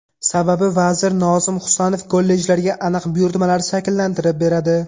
Sababi vazir Nozim Husanov kollejlarga aniq buyurtmalar shakllantirib beradi.